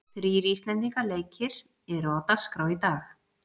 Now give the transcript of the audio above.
Þrír íslendinga leikir eru á dagskrá í dag.